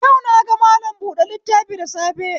Yau naga mallam buɗe littafi da safe